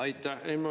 Aitäh!